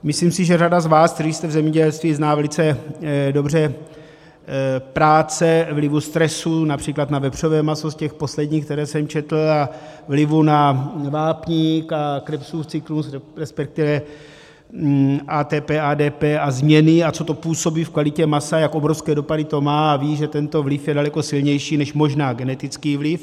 Myslím si, že řada z vás, kteří jste v zemědělství, zná velice dobře práce vlivu stresu například na vepřové maso, z těch posledních, které jsem četl, a vlivu na vápník a Krebsův cyklus, respektive ATP, ADP a změny, a co to působí v kvalitě masa, jak obrovské dopady to má, a ví, že tento vliv je daleko silnější možná než genetický vliv.